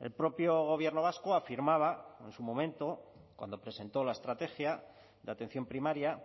el propio gobierno vasco afirmaba en su momento cuando presentó la estrategia de atención primaria